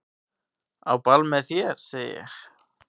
Á ball með þér segi ég.